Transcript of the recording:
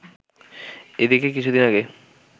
এদিকে কিছুদিন আগে